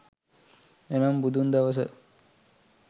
එනම් බුදුන් දවස